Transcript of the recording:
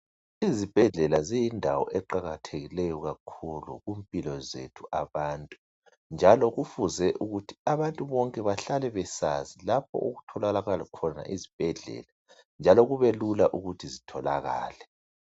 Izibhedlela ziyindawo eqakathekileyo kakhulu kumpilo zethu abantu njalo kufuze ukuthi abantu bonke behlale besazi lapha okutholakala khona izibhedlela njalo kubelula ukuthi zitholakale.